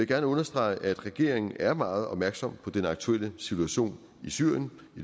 gerne understrege at regeringen er meget opmærksom på den aktuelle situation i syrien